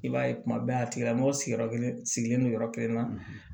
I b'a ye kuma bɛɛ a tigila mɔgɔ sigiyɔrɔ kelen sigilen don yɔrɔ kelen na